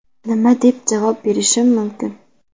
Nima deb javob berishim mumkin?